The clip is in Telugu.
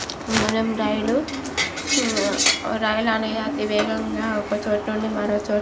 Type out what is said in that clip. మనం రైలు ఉమ్ ఆ రైలు అనేది అతి వేగంగా ఒక చోటు నుండి మరొక చో --